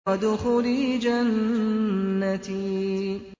وَادْخُلِي جَنَّتِي